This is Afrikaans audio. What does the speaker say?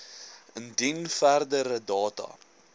indien verdere data